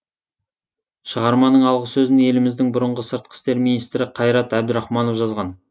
шығарманың алғы сөзін еліміздің бұрынғы сыртқы істер министрі қайрат әбдірахманов жазған